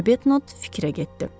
Arbetnot fikrə getdi.